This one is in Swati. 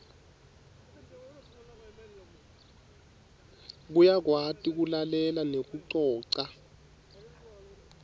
uyakwati kulalela nekucoca